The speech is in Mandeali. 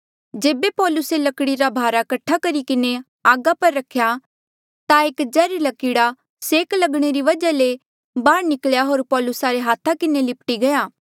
जेबे पौलुसे लकड़ी रा भारा कट्ठा करी किन्हें आगा पर रख्या ता एक जैहर्ले कीड़ा सेक लगणे री वजहा ले बाहर निकल्या होर पौलुसा रे हाथा किन्हें लिप्टी गया